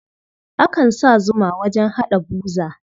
Akan sa zuma wajen haɗa buza.